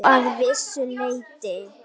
Já, að vissu leyti.